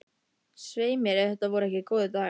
Svei mér ef þetta voru ekki góðir dagar.